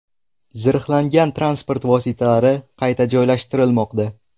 Zirhlangan transport vositalari qayta joylashtirilmoqda.